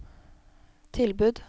tilbud